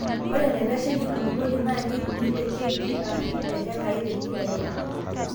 ore enaitasheiki enkulupuoni, naa keipimi te kj aashu ehekai te kila eika.